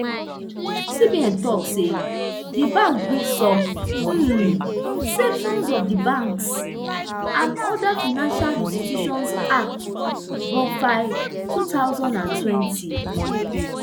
cbn tok say di bank breach some um sections of di banks and other financial institutions act bofia two thousand and twenty